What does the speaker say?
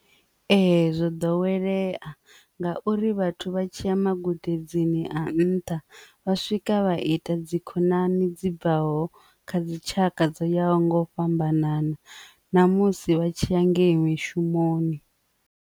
Ee, zwo ḓowelea ngauri vhathu vha tshi ya magudedzini a nṱha vha swika vha ita dzi khonani dzi bvaho kha dzi tshaka dzo ya ho nga u fhambanana ṋamusi vha tshi ya ngei mishumoni.